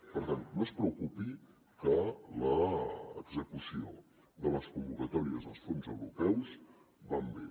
per tant no es preocupi que l’execució de les convocatòries dels fons europeus va bé